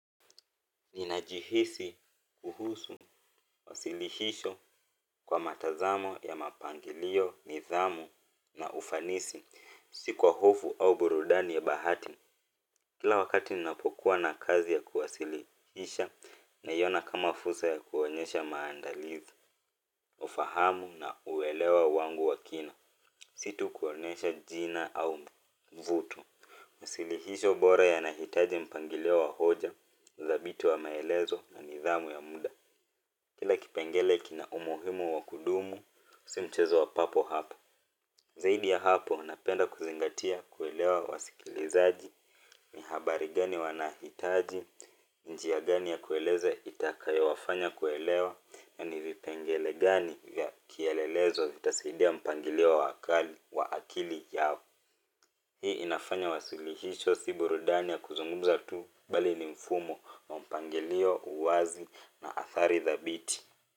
Ninajihisi kuhusu, usilihisho kwa matazamo ya mapangilio, nidhamu na ufanisi, si kwa hofu au burudani ya bahati. Kila wakati ninapokuwa na kazi ya kuwasilihisha na iona kama fursa ya kuonyesha maandalizi, ufahamu na uelewa wangu wakina, si tu kuonesha jina au vuto. Masilihisho bora ya nahitaji mpangilio wa hoja udhabiti wa maelezo na nidhamu ya mda kila kipengele kina umuhimu wa kudumu si mchezo wa papo hapo zaidi ya hapo napenda kuzingatia kuelewa wasikilizaji ni habari gani wanahitaji njia gani ya kueleza itakayo wafanya kuelewa na ni vipengele gani ya kielelezo zitasidia mpangilio wa akali wa akili yao hii inafanya wasilihicho si burudani ya kuzungumza tu bali ni mfumo, wa mpangilio, uwazi na athari dhabiti.